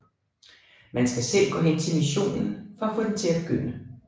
Man skal selv gå hen til missionen for at få den til at begynde